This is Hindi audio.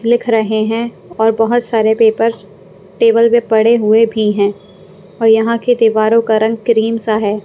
लिख रहे हैं और बहुत सारे पेपर टेबल में पड़े हुए भी हैं और यहाँ की दीवारों का रंग क्रीम सा है।